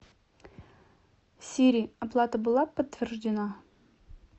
сири оплата была подтверждена